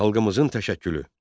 Xalqımızın təşəkkülü.